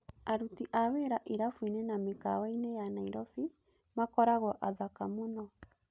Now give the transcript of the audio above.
Aruti a wira irabuinĩ na mĩkawainĩ ya Nairobi makoragwo athaka muno.